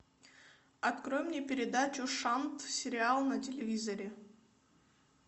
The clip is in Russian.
открой мне передачу шант сериал на телевизоре